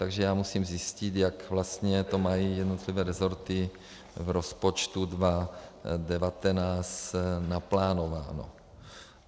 Takže já musím zjistit, jak vlastně to mají jednotlivé rezorty v rozpočtu 2019 naplánováno.